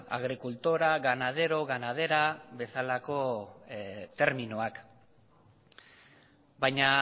agricultora ganadero ganadera bezalako terminoak baina